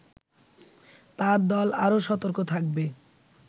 তার দল আরো সতর্ক থাকবে